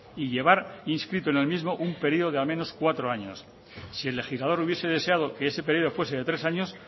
y llevar inscrito en el mismo un periodo de al menos cuatro años si el legislador hubiese deseado que ese periodo fuese de tres años